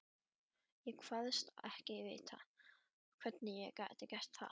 Ég kvaðst ekki vita, hvernig ég gæti gert það.